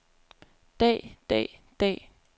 dag dag dag